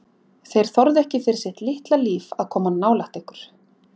Þeir þorðu ekki fyrir sitt litla líf að koma nálægt ykkur.